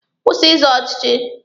Kwụsị ịzọ ọchịchị!